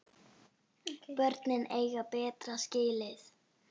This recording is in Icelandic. Börnin eiga betra skilið.